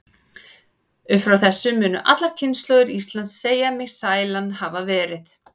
Upp frá þessu munu allar kynslóðir Íslands segja mig sælan hafa verið.